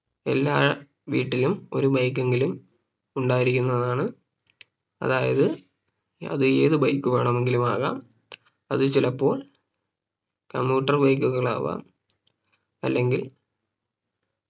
എല്ലാ വീട്ടിലും ഒരു Bike എങ്കിലും ഉണ്ടായിരിക്കുന്നതാണ് അതായത് അത് ഏത് Bike വേണമെങ്കിലും ആകാം അത് ചിലപ്പോൾ commuter bike കളാവാം അല്ലെങ്കിൽ